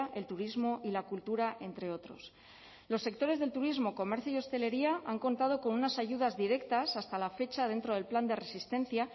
el turismo y la cultura entre otros los sectores del turismo comercio y hostelería han contado con unas ayudas directas hasta la fecha dentro del plan de resistencia